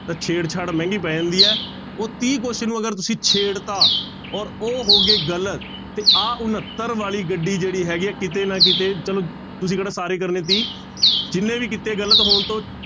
ਤਾਂ ਛੇੜਛਾੜ ਮਹਿੰਗੀ ਪੈ ਜਾਂਦੀ ਹੈ, ਉਹ ਤੀਹ question ਨੂੰ ਅਗਰ ਤੁਸੀਂ ਛੇੜ ਦਿੱਤਾ ਔਰ ਉਹ ਹੋ ਗਏ ਗ਼ਲਤ ਤੇ ਆਹ ਉਣੱਤਰ ਵਾਲੀ ਗੱਡੀ ਜਿਹੜੀ ਹੈਗੀ ਹੈ ਕਿਤੇ ਨਾ ਕਿਤੇ ਚਲੋ ਤੁਸੀਂ ਕਿਹੜਾ ਸਾਰੇ ਕਰਨੇ ਸੀ, ਜਿਹਨੇ ਵੀ ਕੀਤੇ ਗ਼ਲਤ ਹੋਣ ਤੋਂ